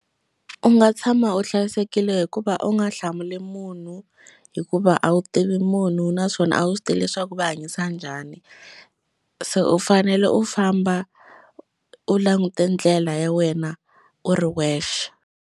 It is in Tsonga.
U nga tshama u hlayisekile hikuva u nga hlamuli munhu hikuva a wu tivi munhu naswona a wu swi tivi leswaku va hanyisa njhani se u fanele u famba u langute ndlela ya wena u ri wexe.